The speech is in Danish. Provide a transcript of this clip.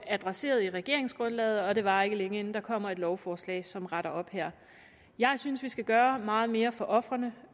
adresseret i regeringsgrundlaget og det varer ikke længe inden der kommer et lovforslag som retter op her jeg synes vi skal gøre meget mere for ofrene